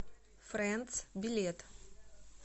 френдс билет